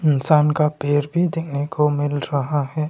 इंसान का पैर भी दिखने को मिल रहा हैं।